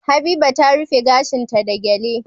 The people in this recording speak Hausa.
Habiba ta rufe gashin ta da gele